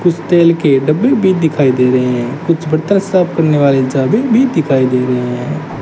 कुछ तेल के डब्बे भी दिखाई दे रहे हैं कुछ बर्तन साफ करने वाले भी दिखाई दे रहे हैं।